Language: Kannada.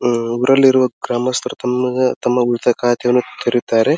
ಅಹ್ ಊರಲ್ಲಿರುವ ಗ್ರಾಮಸ್ಥರು ತಣ್ಣಗೆ ತಮ್ಮ ಮಿತಕಾತೆಯನ್ನು ತೆರಿತ್ತಾರೆ.